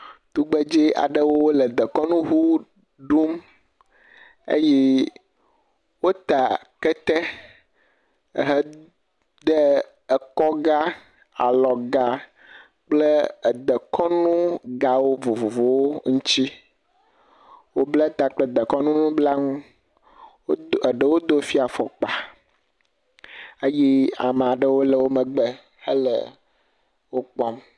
Tugbedze aɖewo le dekɔnu ŋu dom. Wota kete. Wo de ekɔga, alɔga kple edekɔnugawo vovovowo ŋuti. Wo bla ta kple dekɔnu nu nublanuwo eɖewo do afɔkpa